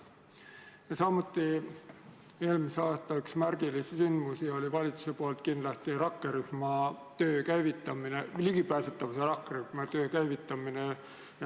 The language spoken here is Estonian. Ja samuti oli eelmisel aastal üks valitsuse märgilisi ettevõtmisi ligipääsetavuse rakkerühma töö käivitamine.